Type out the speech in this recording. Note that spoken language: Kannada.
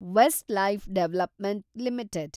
Westlife development limited